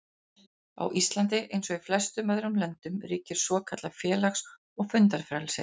Á Íslandi, eins og í flestum öðrum löndum, ríkir svokallað félaga- og fundafrelsi.